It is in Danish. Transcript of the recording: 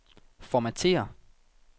Formatér.